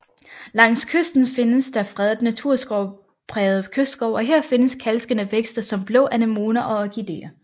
Langs kysten findes der fredet naturskovspræget kystskov og her findes kalkelskende vækster som blå anemoner og orkideer